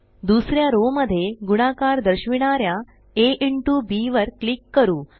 दुसऱ्या रो मध्ये गुणाकार दर्शविणाऱ्या आ इंटो बी वर क्लिक करू